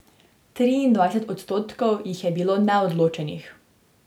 Triindvajset odstotkov jih je bilo neodločenih.